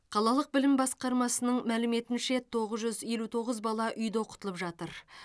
қалалық білім басқармасының мәліметінше тоғыз жүз елу тоғыз бала үйде оқытылып жатыр